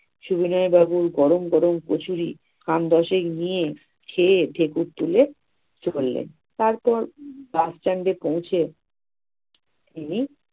সবিনয় বাবু গরম গরম কচুরি খান দশেক দিয়ে খেয়ে ঢেকুর তুলে তারপর bus stand এ পৌঁছে তিনি